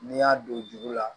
N'i y'a don juru la